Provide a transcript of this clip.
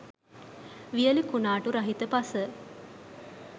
වියලි කුණාටු රහිත පස